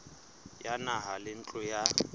ya naha le ntlo ya